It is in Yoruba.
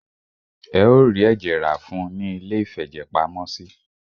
Ẹ o rí ẹ̀jẹ̀ rá fún ùn ní iléìfẹ̀jẹ̀pamọ́sí.